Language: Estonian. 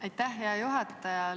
Aitäh, hea juhataja!